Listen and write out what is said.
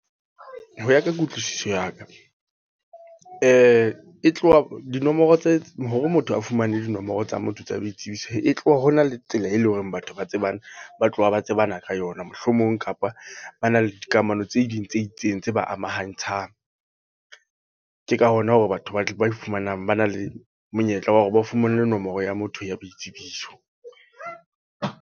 Ho ya ka kutlwisiso ya ka. E tloha dinomoro tse, hore motho a fumane dinomoro tsa motho tsa boitsebiso. E tloha hona le tsela e leng hore batho ba tsebana, ba tloha ba tsebana ka yona. Mohlomong kapa ba na le dikamano tse ding tse itseng tse ba amahangtshang. Ke ka hona hore batho ba tle ba e fumanang ba na le monyetla wa hore ba fumane nomoro ya motho ya boitsebiso.